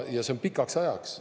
Ja see on pikaks ajaks.